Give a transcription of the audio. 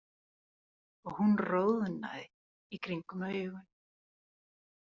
Og hún roðnaði í kringum augun.